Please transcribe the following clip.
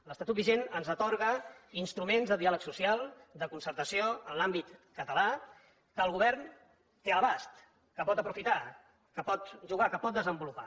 l’estatut vigent ens atorga instruments de diàleg social de concertació en l’àmbit català que el govern té a l’abast que pot aprofitar que pot jugar que pot desenvolupar